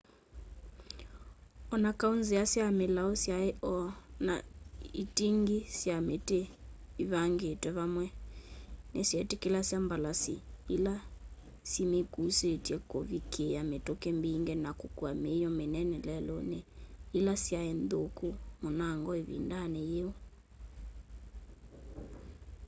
o na kau nzia sya milau syai o na iting'i sya miti ivangitwe vamwe nisyetikilasya mbalasi ila simikuusitye kuvikiia mituki mbingi na kukua miio minene leluni ila syai nthuku munango ivindani yiu